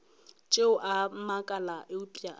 tšeo a makala eupša a